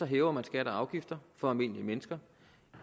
hæver man skatter og afgifter for almindelige mennesker